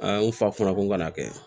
A ye n fa kunna ko n kana kɛ